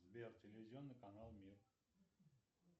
сбер телевизионный канал мир